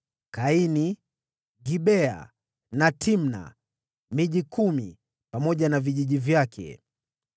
Kaini, Gibea na Timna; miji kumi pamoja na vijiji vyake.